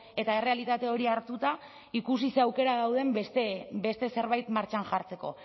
eta errealitate hori hartuta ikusi zer aukera dauden beste zerbait martxan jartzeko